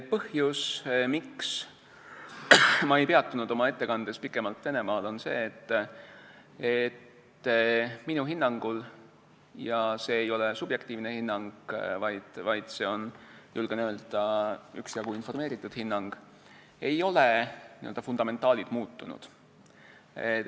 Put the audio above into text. Põhjus, miks ma ei peatunud oma ettekandes pikemalt Venemaal, on see, et minu hinnangul – see ei ole subjektiivne hinnang, vaid see on, julgen öelda, üksjagu informeeritud hinnang – ei ole n-ö fundamentaalid muutunud.